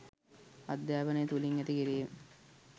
අධ්‍යාපනය තුළින් ඇති කිරීම